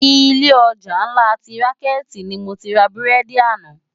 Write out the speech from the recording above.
Ilé òjá nlá ti rànkèti ni mó ti rá búrèdi àná